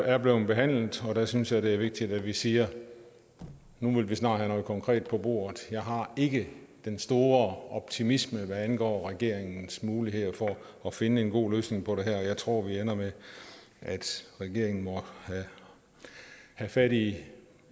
er blevet behandlet der synes jeg det er vigtigt at vi siger nu vil vi snart have noget konkret på bordet jeg har ikke den store optimisme hvad angår regeringens muligheder for at finde en god løsning på det her jeg tror det ender med at regeringen må have fat i